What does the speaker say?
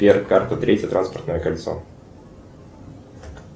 сбер карта третье транспортное кольцо